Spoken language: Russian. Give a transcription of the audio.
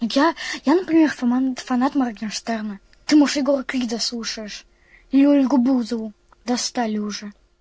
я я например фанат моргенштерна ты может егора крида слушаешь или ольгу бузову достали уже